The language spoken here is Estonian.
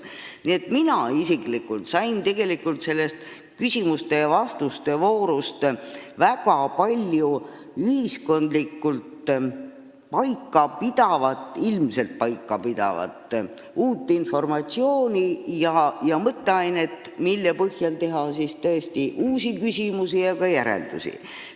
Nii et mina isiklikult sain sellest küsimuste ja vastuste voorust väga palju ühiskondlikult ilmselt paika pidavat uut informatsiooni ja mõtteainet, mille põhjal esitada uusi küsimusi ja teha ka järeldusi.